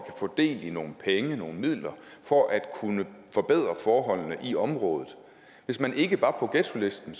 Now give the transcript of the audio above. få del i nogle penge nogle midler for at kunne forbedre forholdene i området hvis man ikke var på ghettolisten